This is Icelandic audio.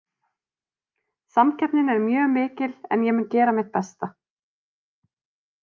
Samkeppnin er mjög mikil en ég mun gera mitt besta.